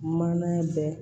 Maana bɛɛ